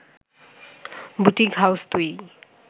boutique house তৈরি